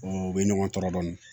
u bɛ ɲɔgɔn tɔɔrɔ dɔɔni